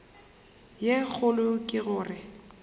ye kgolo ke go re